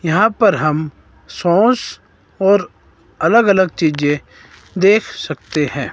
यहां पर हम सॉस और अलग अलग चीजें देख सकते हैं।